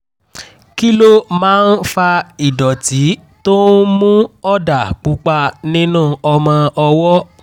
kí ló máa ń fa ìdọ̀tí tó ń mú ọ̀dà pupa nínú ọmọ ọwọ́?